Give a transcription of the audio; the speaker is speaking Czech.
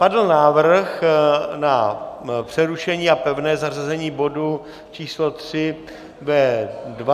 Padl návrh na přerušení a pevné zařazení bodu číslo 3 ve 20.40, dejme tomu.